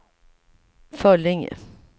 Föllinge